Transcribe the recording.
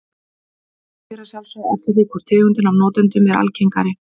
Þetta fer að sjálfsögðu eftir því hvor tegundin af notendunum er algengari.